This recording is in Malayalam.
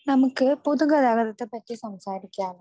നമുക്ക് പൊതുഗതാഗതത്തെ പറ്റി സംസാരിക്കാം